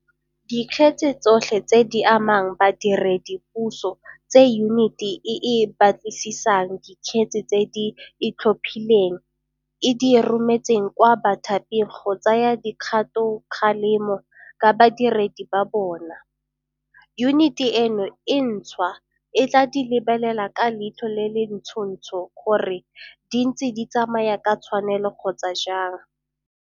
Dikgetse tsotlhe tse di amang badiredipuso tse Yuniti e e Batlisisang Dikgetse tse di Itlhophileng e di rometseng kwa bathaping go tsaya dikgatokgalemo ka badiredi ba bona, yuniti eno e ntšhwa e tla di lebelela ka leitlho le le ntšhotšho gore di ntse di tsamaya ka tshwanelo kgotsa jang.